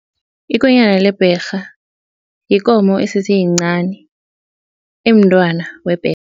Ikonyana lebherha yikomo esese yincani emntwana